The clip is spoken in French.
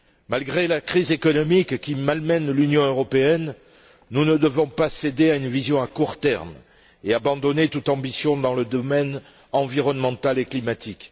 Malgré la crise économique qui malmène l'Union européenne, nous ne devons pas céder à une vision à court terme et abandonner toute ambition dans le domaine environnemental et climatique.